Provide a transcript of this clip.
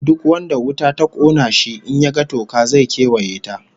Duk wanda wuta ta kona shi, in ya ga toka, zai kewaye ta